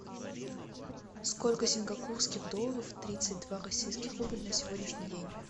сколько сингапурских долларов тридцать два российских рубль на сегодняшний день